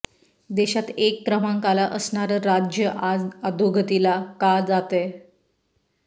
देशात एक क्रमांकाला असणारं राज्य आज अधोगतीला का जातय